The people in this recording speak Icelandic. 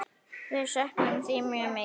Við söknum þín mjög mikið.